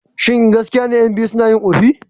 Shin gaskiya ne ƴan biyu suna yin ƙofi?